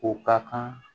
O ka kan